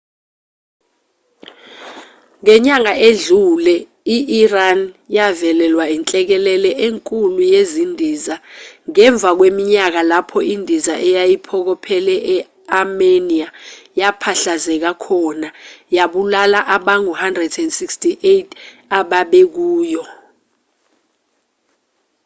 ngenyanga edlule i-iran yavelelwa inhlekelele enkulu yezindiza ngemva kweminyaka lapho indiza eyayiphokophele e-armenia yaphahlazeka khona yabulala abangu-168 ababekuyo